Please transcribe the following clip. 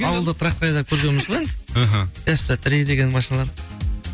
ауылда трактор айдап көргенбіз ғой енді іхі сп три деген машиналар